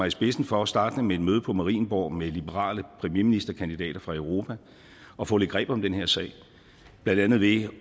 i spidsen for startende med et møde på marienborg med liberale premierministerkandidater fra europa at få lidt greb om den her sag blandt andet ved